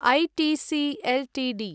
ITC Ltd